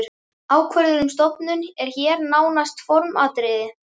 Ákvörðun um stofnun er hér nánast formsatriði.